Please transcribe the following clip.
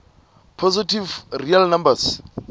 positive real numbers